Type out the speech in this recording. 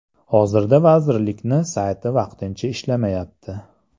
Hozirda vazirlikni sayti vaqtincha ishlamayapti.